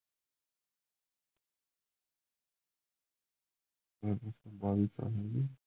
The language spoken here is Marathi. बाविस सातशे